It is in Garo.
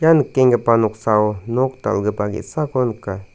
nikenggipa noksao nok dal·gipa ge·sako nika.